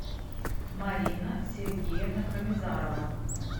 марина сергеевна хамизарова